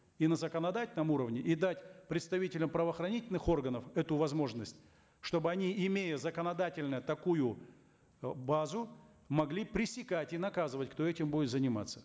и на законодательном уровне и дать представителям правоохранительных органов эту возможность чтобы они имея законодательно такую э базу могли пресекать и наказывать кто этим будет заниматься